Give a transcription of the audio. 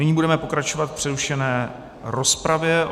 Nyní budeme pokračovat v přerušené rozpravě.